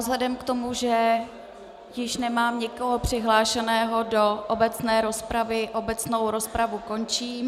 Vzhledem k tomu, že již nemám nikoho přihlášeného do obecné rozpravy, obecnou rozpravu končím.